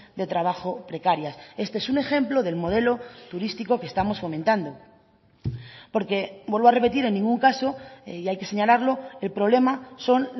de trabajo precarias este es un ejemplo del modelo turístico que estamos fomentando porque vuelvo a repetir en ningún caso y hay que señalarlo el problema son